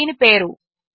ఇది దీని పేరు